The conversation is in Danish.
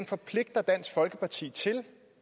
forpligter dansk folkeparti til